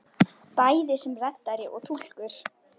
Bæði sem reddari og túlkur!